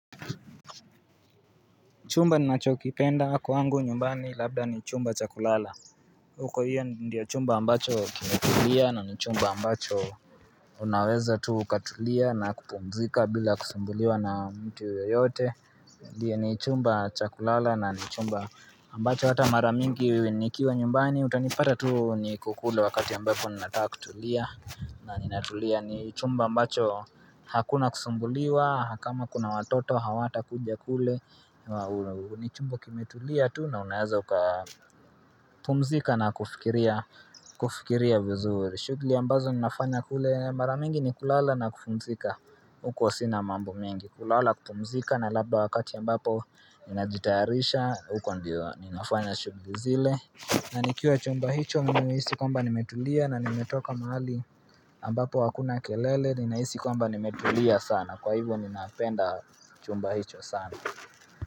Chumba ninachokipenda kwangu nyumbani labda ni chumba cha kulala huko hiyo ndiyo chumba ambacho kimetulia na ni chumba ambacho Unaweza tu ukatulia na kupumzika bila kusumbuliwa na mtu yoyote ndiyo ni chumba chakulala na ni chumba ambacho hata maramingi nikiwa nyumbani utanipata tu niko kule wakati ambapo ninataka kutulia na ninatulia ni chumba ambacho hakuna kusumbuliwa na kama kuna watoto hawata kuja kule ni chumba kimetulia tu na unaweza ukapumzika na kufikiria vizuri shughuli ambazo ninafanya kule mara mingi ni kulala na kupumzika uko sina mambo mengi kulala kupumzika na labda wakati ambapo Ninajitaharisha uko ndio ninafanya shughuli zile na nikiwa chumba hicho nina hisi kwamba nimetulia na nimetoka mahali ambapo hakuna kelele Nina hisi kwamba nimetulia sana kwa hivyo ninapenda chumba hicho sana.